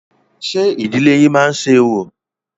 Ṣé ìdílé yín má ń ṣe orò?